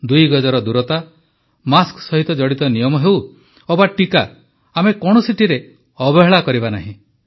ଦୁଇ ଗଜର ଦୂରତା ମାସ୍କ ସହିତ ଜଡ଼ିତ ନିୟମ ହେଉ ଅବା ଟିକା ଆମେ କୌଣସିଟିରେ ଅବହେଳା କରିବା ନାହିଁ